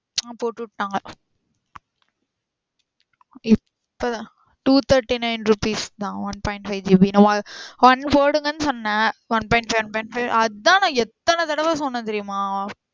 ஆஹ் போட்டு விட்டாங்க இப்~ இப்பதான் two thirty-nine rupees தான் one point five GB தான் one போடுங்கன்னு சொன்னேன் one point five one point five அதான் நா எத்தன தடவ சொன்னே தெர்யுமா